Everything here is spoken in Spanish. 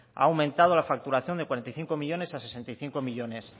ha aumentado la facturación de cuarenta y cinco millónes a sesenta y cinco millónes